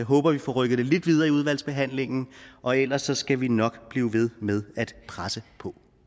håber vi får rykket det lidt videre i udvalgsbehandlingen og ellers skal vi nok blive ved med at presse på